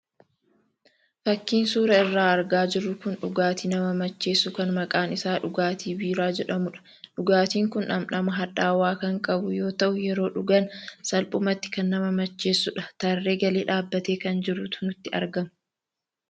Fakiin suuraa irraa argaa jirru kun dhugaatii nama macheessu kan maqaan isaa dhugaatii biiraa jedhamudha. Dhugaatiin kun dham-dhama hadhaawaa kan qabu yoo ta'u, yeroo dhugan salphumatti kan nama macheessudha. Tarree galee dhaabatee kan jirutu natti argama.